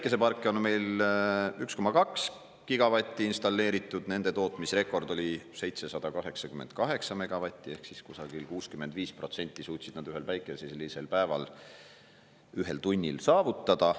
Päikeseparke on meil 1,2 gigavatti installeeritud, nende tootmisrekord oli 788 megavatti ehk siis kusagil 65% suutsid nad ühel päikeselisel päeval ühel tunnil saavutada.